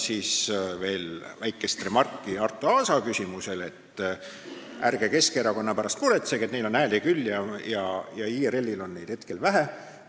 Veel väike remark Arto Aasa küsimuse kohta, et ärge Keskerakonna pärast muretsege, sest neil on hääli küll, aga IRL-il on neid hetkel vähe.